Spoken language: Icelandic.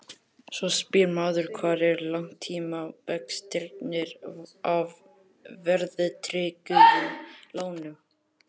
Svo spyr maður hvar eru langtímavextirnir af verðtryggðum lánum?